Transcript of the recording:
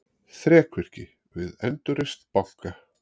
Þrekvirki við endurreisn banka